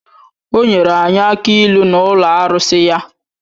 O nwere anyị akị ịlu n’ụlọ arụsị ya